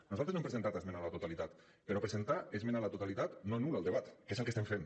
nosaltres no hem presentat esmena a la totalitat però presentar esmena a la totalitat no anul·la el debat que és el que estem fent